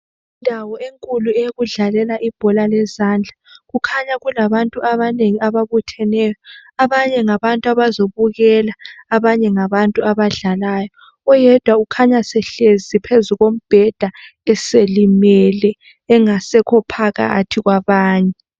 Indawo enkulu eyokudlalela ibhola lezandla, kukhanya kulabantu abanengi ababutheneyo. Abanye ngabantu abazobukela abanye ngabantu abadlalayo. Oyedwa ukhanya esehlezi phezu kombheda eselimele engasekho phakathi kwabanye.